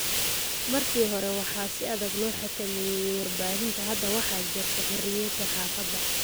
Markii hore, waxaa si adag loo xakameeyay warbaahinta. Hadda waxaa jirta xorriyadda saxaafadda.